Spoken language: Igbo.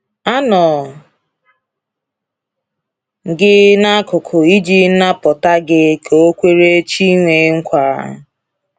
“A nọ m gị n’akụkụ iji napụta gị,” ka o kwere Chinweiah nkwa.